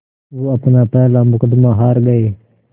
वो अपना पहला मुक़दमा हार गए